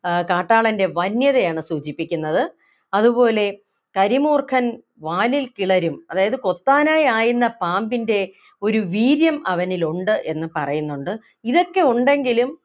ആഹ് കാട്ടാളൻ്റെ വന്യതയാണ് സൂചിപ്പിക്കുന്നത് അതുപോലെ കരിമൂർഖൻ വാലിൽ കിളരും അതായത് കൊത്താനായി ആയുന്ന പാമ്പിൻ്റെ ഒരു വീര്യം അവനില്‍ ഉണ്ട് എന്ന് പറയുന്നുണ്ട് ഇതൊക്കെ ഉണ്ടെങ്കിലും